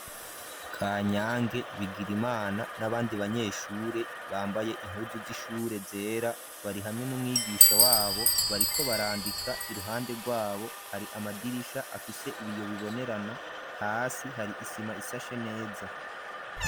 Kanyange, Bigirimana, n'abandi banyeshure; bambaye impuzu z'ishure, zera; bari hamwe n'umwigisha wabo, bariko barandika; iruhande rwabo, hari amadirisha, afise ibiyo bibonerana; hasi hari isima, isashe neza.